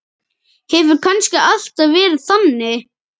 Hefur kannski alltaf verið þannig?